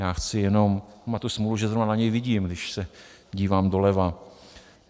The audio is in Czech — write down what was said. Já chci jenom - má tu smůlu, že zrovna na něj vidím, když se dívám doleva.